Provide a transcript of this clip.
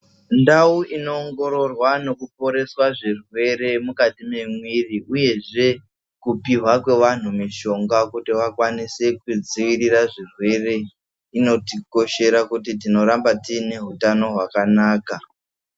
Ndau inoongororwa zvirwere mukati uyezve kupiwa kwevantu mishonga kuti vakwanise kudzivirira zvirwere inotikosbers kuti tinoramba tine hutano hwakanaka.